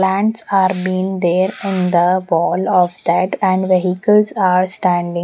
plants are being there in the wall of that and vehicles are standing.